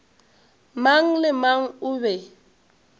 mang le mang o be